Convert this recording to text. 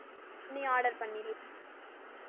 நீ order பண்ணிரு~